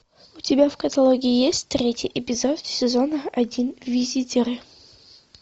у тебя в каталоге есть третий эпизод сезона один визитеры